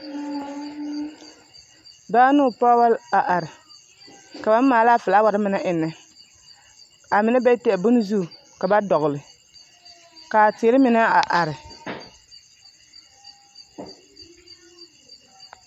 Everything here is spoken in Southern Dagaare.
Dɔɔ ne o pɔge la a are ka ba maala a filaaware mine eŋnɛ a mine be teɛ bonne zu ka dɔgle ka a teere mine a are